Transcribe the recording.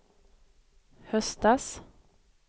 höstas